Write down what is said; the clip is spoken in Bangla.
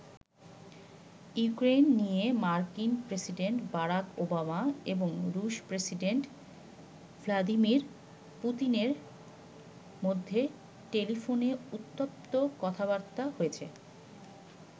ইউক্রেন নিয়ে মার্কিন প্রেসিডেন্ট বারাক ওবামা এবং রুশ প্রেসিডেন্ট ভ্লাদিমির পুতিনের মধ্যে টেলিফোনে উত্তপ্ত কথাবার্তা হয়েছে।